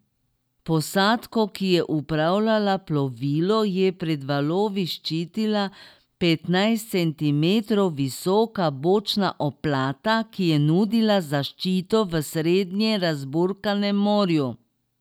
Posadko, ki je upravljala plovilo, je pred valovi ščitila petnajst centimetrov visoka bočna oplata, ki je nudila zaščito v srednje razburkanem morju.